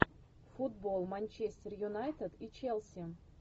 футбол манчестер юнайтед и челси